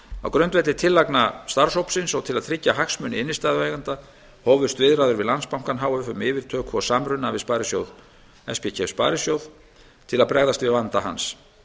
á grundvelli tillagna starfshópsins og til að tryggja hagsmuni innstæðueigenda hófust viðræður við landsbankann h f um yfirtöku og samruna við spkef sparisjóð til að bregðast við vanda hans